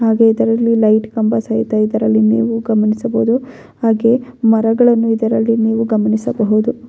ಹಾಗೆ ಇದರಲ್ಲಿ ಲೈಟ್ ಕಂಬ ಸಹಿತ ಇದರಲ್ಲಿ ನೀವು ಗಮನಿಸಬಹುದು ಹಾಗೆ ಮರಗಳನ್ನು ಇದರಲ್ಲಿ ನೀವು ಗಮನಿಸಬಹುದು.